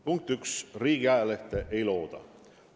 Punkt üks: riigiajalehte ei looda.